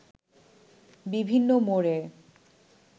বিভিন্ন মোড়ে